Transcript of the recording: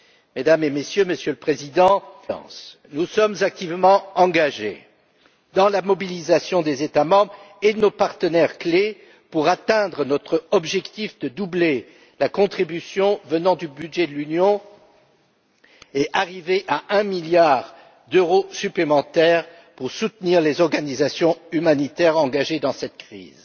Mesdames et messieurs, monsieur le Président, en tant que Présidence, nous sommes activement engagés dans la mobilisation des États membres et de nos partenaires clés pour atteindre notre objectif de doubler la contribution venant du budget de l'Union et d'arriver à un milliard d'euros supplémentaires pour soutenir les organisations humanitaires engagées dans cette crise.